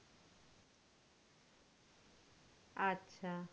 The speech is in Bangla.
আচ্ছা।